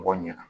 Mɔgɔ ɲɛna